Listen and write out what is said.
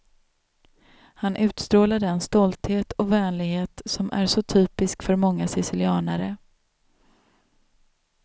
Han utstrålar den stolthet och vänlighet som är så typisk för många sicilianare.